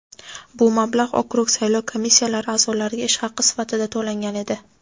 Bu mablag‘ okrug saylov komissiyalari a’zolariga ish haqi sifatida to‘langan edi.